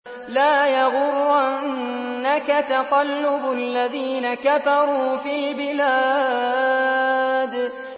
لَا يَغُرَّنَّكَ تَقَلُّبُ الَّذِينَ كَفَرُوا فِي الْبِلَادِ